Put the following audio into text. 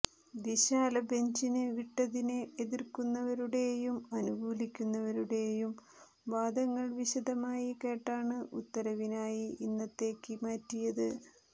വിശാലബെഞ്ചിന് വിട്ടതിനെ എതിർക്കുന്നവരുടെയും അനുകൂലിക്കുന്നവരുടെയും വാദങ്ങൾ വിശദമായി കേട്ടാണ് ഉത്തരവിനായി ഇന്നത്തേക്ക് മാറ്റിയത്